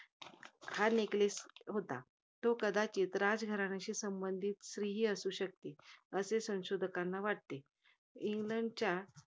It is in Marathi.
हा neckless होता. तो कदाचित राजघराण्याशी संबंधित स्त्री ही असू शकते. असे संशोधकांना वाटते. इंग्लंडच्या